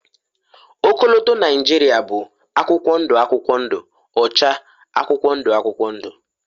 ọkọlọtọ Nigeria bụ akwụkwọ ndụ akwụkwọ ndụ, ọcha akwụkwọ ndụ akwụkwọ ndụ